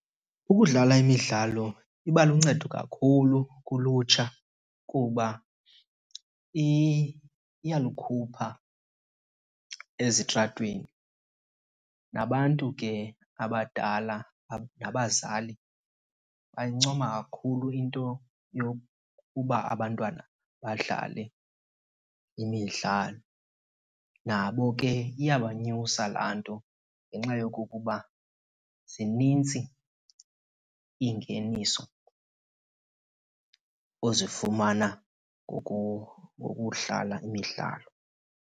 Ukudlala imidlalo iba luncedo kakhulu kulutsha kuba iyalukhupha ezitratweni. Nabantu ke abadala nabazali bayayincoma kakhulu into yokuba abantwana badlale imidlalo. Nabo ke iyabanyusa laa nto ngenxa yokokuba zinintsi Iingeniso ozifumana ngokudlala imidlalo.